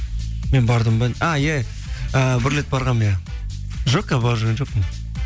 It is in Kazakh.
мен бардым ба а иә ііі бір рет барғанмын иә жоқ қазір барып жүрген жоқпын